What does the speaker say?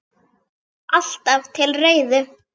Alltaf til reiðu!